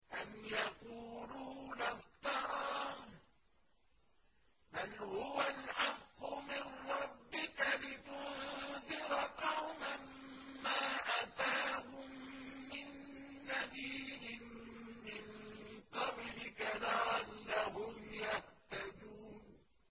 أَمْ يَقُولُونَ افْتَرَاهُ ۚ بَلْ هُوَ الْحَقُّ مِن رَّبِّكَ لِتُنذِرَ قَوْمًا مَّا أَتَاهُم مِّن نَّذِيرٍ مِّن قَبْلِكَ لَعَلَّهُمْ يَهْتَدُونَ